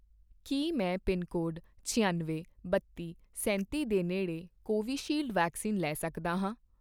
ਕੀ ਮੈਂ ਪਿਨਕੋਡ ਛਿਅਨਵੇਂ, ਬੱਤੀ, ਸੈਂਤੀ ਦੇ ਨੇੜੇ ਕੋਵੀਸ਼ੀਲਡ ਵੈਕਸੀਨ ਲੈ ਸਕਦਾ ਹਾਂ?